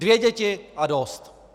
Dvě děti a dost!